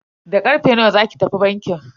Da karfe nawa zaki tafi bankin?